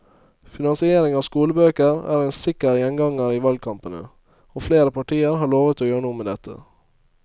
Finansiering av skolebøker er en sikker gjenganger i valgkampene, og flere partier har lovet å gjøre noe med dette.